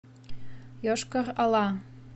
йошкар ола